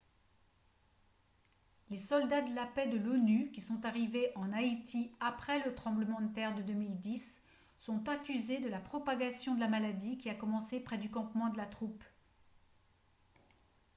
les soldats de la paix de l'onu qui sont arrivés en haïti après le tremblement de terre de 2010 sont accusés de la propagation de la maladie qui a commencé près du campement de la troupe